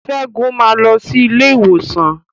Segun ma lọ sí ilé ìwòsan.